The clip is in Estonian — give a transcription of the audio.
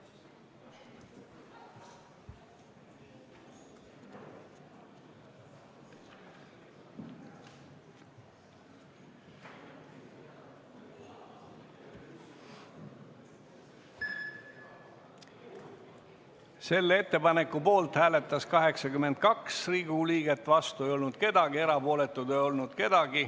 Hääletustulemused Selle ettepaneku poolt hääletas 82 Riigikogu liiget, vastu ei olnud keegi, erapooletuid ei olnud.